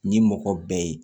Ni mɔgɔ bɛɛ ye